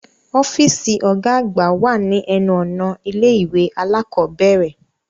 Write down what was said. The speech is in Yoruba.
Ọfiisi ọgá àgbà wá ni ẹnu-ọna ilé-ìwé alakọ̀bẹrẹ